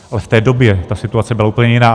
Ale v té době ta situace byla úplně jiná.